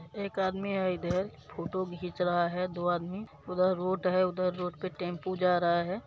एक आदमी है इधर फोटो घीच रहा है दो आदमी उधर रोड है उधर रोड पे टेंपू जा रहा है।